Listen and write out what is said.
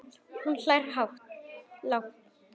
Og hún hlær hátt.